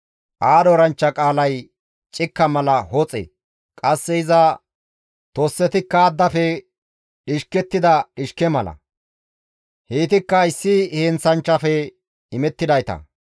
Aadho eranchcha qaalay cikka mala hoxe; qasse iza tossetikka addafe dhishkettida dhishke mala; heytikka issi heenththanchchafe imettidayta.